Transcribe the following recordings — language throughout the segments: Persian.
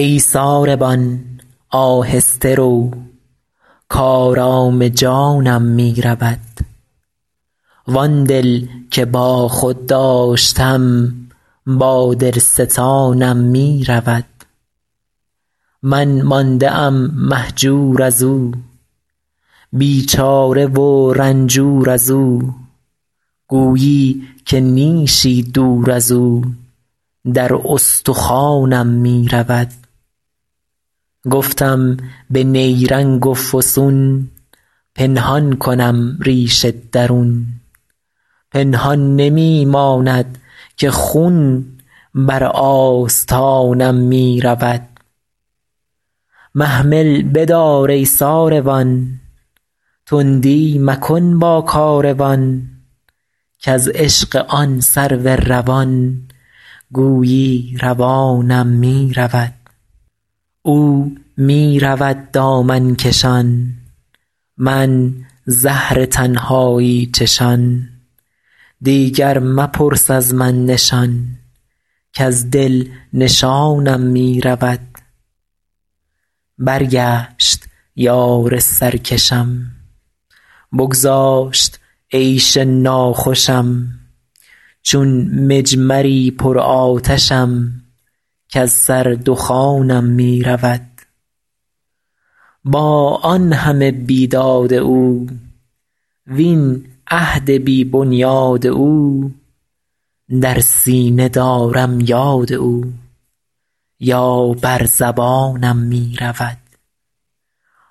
ای ساربان آهسته رو کآرام جانم می رود وآن دل که با خود داشتم با دل ستانم می رود من مانده ام مهجور از او بیچاره و رنجور از او گویی که نیشی دور از او در استخوانم می رود گفتم به نیرنگ و فسون پنهان کنم ریش درون پنهان نمی ماند که خون بر آستانم می رود محمل بدار ای ساروان تندی مکن با کاروان کز عشق آن سرو روان گویی روانم می رود او می رود دامن کشان من زهر تنهایی چشان دیگر مپرس از من نشان کز دل نشانم می رود برگشت یار سرکشم بگذاشت عیش ناخوشم چون مجمری پرآتشم کز سر دخانم می رود با آن همه بیداد او وین عهد بی بنیاد او در سینه دارم یاد او یا بر زبانم می رود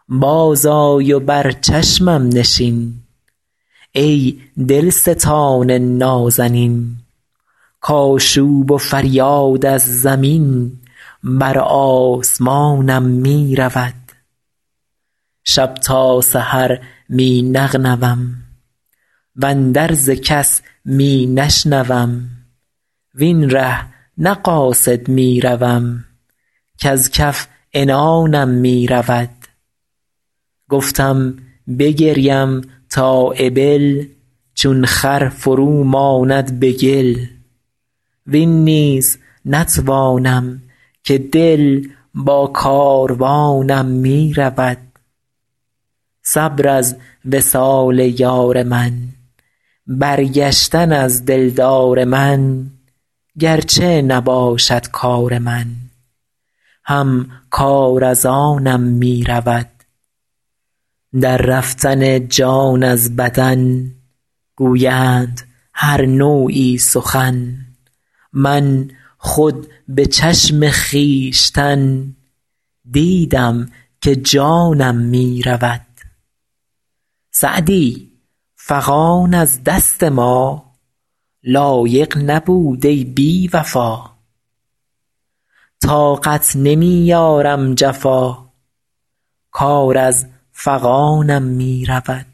بازآی و بر چشمم نشین ای دلستان نازنین کآشوب و فریاد از زمین بر آسمانم می رود شب تا سحر می نغنوم واندرز کس می نشنوم وین ره نه قاصد می روم کز کف عنانم می رود گفتم بگریم تا ابل چون خر فرو ماند به گل وین نیز نتوانم که دل با کاروانم می رود صبر از وصال یار من برگشتن از دلدار من گر چه نباشد کار من هم کار از آنم می رود در رفتن جان از بدن گویند هر نوعی سخن من خود به چشم خویشتن دیدم که جانم می رود سعدی فغان از دست ما, لایق نبود ای بی وفا طاقت نمی آرم جفا کار از فغانم می رود